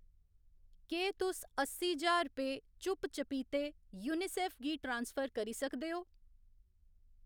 केह् तुस अस्सी ज्हार रपे चुप्प चपीते यूऐन्नआईसीईऐफ्फ गी ट्रांसफर करी सकदे ओ ?